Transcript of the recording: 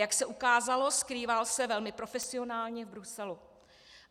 Jak se ukázalo, skrýval se velmi profesionálně v Bruselu.